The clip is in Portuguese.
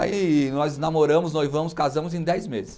Aí nós namoramos, noivamos, casamos em dez meses.